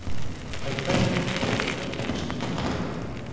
En hversu myndarleg eru verðlaunin sem í boði eru?